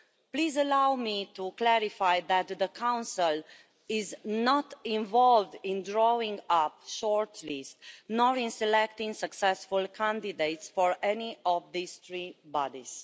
Please allow me to clarify that the Council is not involved in drawing up shortlists, nor in selecting successful candidates, for any of these three bodies.